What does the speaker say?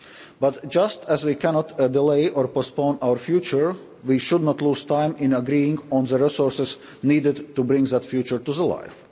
targets. But, just as we cannot delay or postpone our future, we should not lose time in agreeing on the resources needed to bring that future